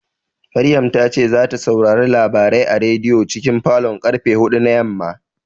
Maryam ta ce zata saurari labarai a rediyon cikin falon karfe huɗu na yamma